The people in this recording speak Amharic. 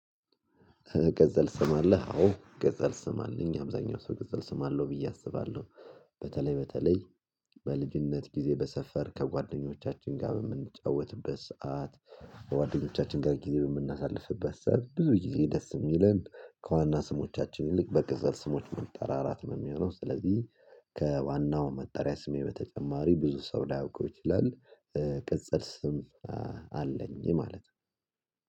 ቅጽል ስም አለህ? አዎ ቅጽል ስም አለኝ አብዛኛው ሰው ቅጽል ስም አለው ብዬ አስባለሁ በተለይ በተለይ በልጅነት ጊዜ በሰፈር ከጓደኞቻችን ጋር በምንጫወትበት ሰዓት ከጓደኞቻችን ጋር ጊዜ በምናሳልፍበት ሰዓት ብዙ ጊዜ ደስ ሚለን ከዋና ስሞቻችን ይልቅ በቅጽል ስሞች መጠራራት ነው ሚሆነው ስለዚህ ከዋናው መጠሪያ ስሜ በተጨማሪ ብዙ ሰው ላያውቀው ይችላል ቅጽል ስ ስም አለኝ ማለት ነው